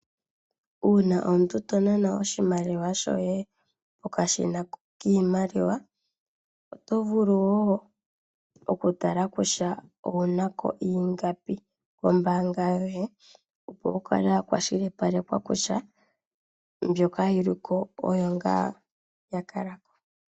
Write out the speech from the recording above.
Uuna omuntu to nana oshimaliwa shoye pokashina kiimaliwa, oto vulu wo okutala okutala kutya owunako iingapi kombaanga yoye, opo wu kale kwashilipalekwa kutya mbyoka yi liko oyo ngaa ya kalako.